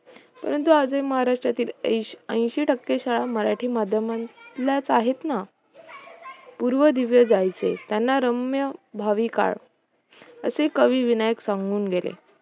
परंतु आजही महाराष्ट्रातील ऐंशी टक्के शाळा मराठी माध्यमातीलच आहेत ना? पूर्वी दिवे जायचे त्यांना रम्य भावी काळ असे कवि विनायक सांगून गेले